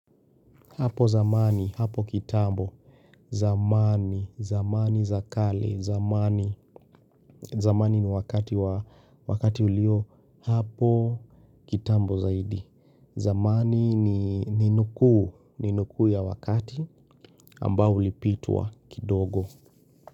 Hapo zamani, hapo kitambo, zamani, zamani za kale, zamani, zamani ni wakati ulio, hapo kitambo zaidi, zamani ni nukuu, ni nukuu ya wakati ambao ulipitwa kidogo.